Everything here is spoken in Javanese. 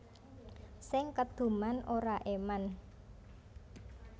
Sing keduman ora eman